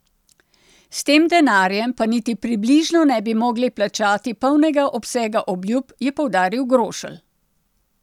S tem denarjem pa niti približno ne bi mogli plačati polnega obsega obljub, je poudaril Grošelj.